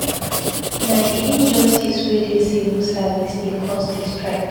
Na di injustice wey dey civil service dey cause di strike.